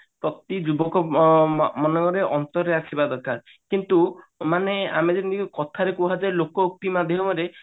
ପ୍ରତି ଯୁବକ ଅ ମ ମନେ ମନରେ ଅନ୍ତରରେ ଆସିବା ଦରକାର କିନ୍ତୁ ମାନେ ଆମେ ଯେମିତି କଥାରେ କୁହାଯାଏ ଲୋକ କି